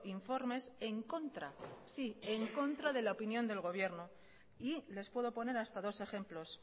informes en contra sí en contra de la opinión del gobierno y les puedo poner hasta dos ejemplos